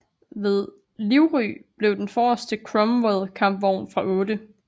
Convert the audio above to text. Ved Livry blev den forreste Cromwell kampvogn fra 8